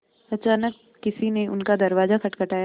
अचानक किसी ने उनका दरवाज़ा खटखटाया